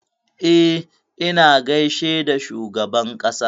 E, na gaishe da shugaban ƙasa.